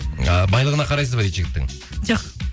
ы байлығына қарайсыз ба дейді жігіттің жоқ